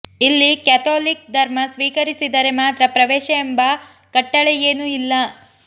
ಇಲ್ಲಿ ಕೆಥೋಲಿಕ್ ಧರ್ಮ ಸ್ವೀಕರಿಸಿದರೆ ಮಾತ್ರ ಪ್ರವೇಶ ಎಂಬ ಕಟ್ಟಳೆಯೇನೂ ಇಲ್ಲ